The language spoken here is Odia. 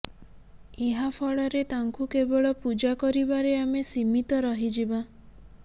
ଏହା ଫଳରେ ତାଙ୍କୁ କେବଳ ପୂଜା କରିବାରେ ଆମେ ସୀମିତ ରହିଯିବା